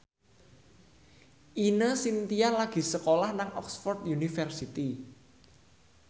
Ine Shintya lagi sekolah nang Oxford university